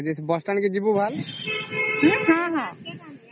bus stand କେ ଯିବୁ ଭଲ